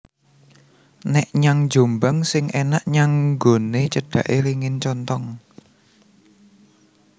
Nek nyang Jombang sing enak nyanggone cedake ringin contong